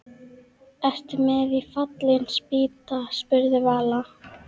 Ertu með í Fallin spýta? spurði Vala.